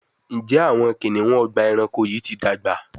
Njé Awọn kiniun Ọgbà ẹranko yi ti dàgbà?